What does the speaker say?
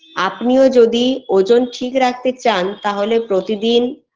আপনি ও যোদি ওজন ঠিক রাখতে চান তাহলে প্রতিদিন